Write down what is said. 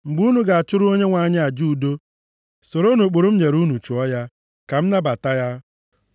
“ ‘Mgbe unu ga-achụrụ Onyenwe anyị aja udo, soronụ ụkpụrụ m nyere unu chụọ ya, ka m nabata ya.